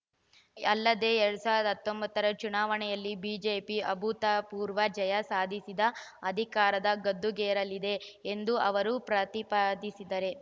ಅಲ್ಲದೆ ಎರಡ್ ಸಾವಿರದ ಹತ್ತೊಂಬತ್ತ ರ ಚುನಾವಣೆಯಲ್ಲಿ ಬಿಜೆಪಿ ಅಭೂತಪೂರ್ವ ಜಯ ಸಾಧಿಸಿ ಅಧಿಕಾರದ ಗದ್ದುಗೆಗೇರಲಿದೆ ಎಂದು ಅವರು ಪ್ರತಿಪಾದಿಸಿದ್ದಾರೆ